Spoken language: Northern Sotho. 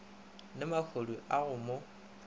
le mahodu a go mo